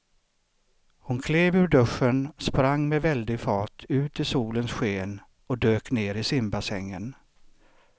Hon klev ur duschen, sprang med väldig fart ut i solens sken och dök ner i simbassängen.